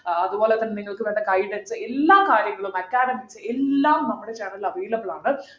ഏർ അതുപോലെതന്നെ നിങ്ങൾക്ക് വേണ്ട guidance എല്ലാ കാര്യങ്ങളും academics എല്ലാം നമ്മളെ channel ൽ available ആണ്